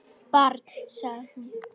Barn, sagði hún.